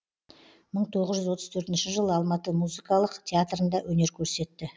мың тоғыз жүз отыз төртінші жылы алматы музикалық театрында өнер көрсетті